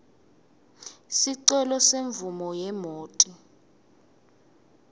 sicelo semvumo yemoti